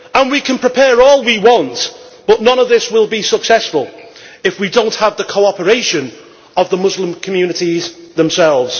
We can prepare all we want, but none of this will be successful if we do not have the cooperation of the Muslim communities themselves.